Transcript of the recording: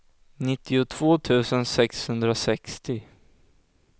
nittiotvå tusen sexhundrasextio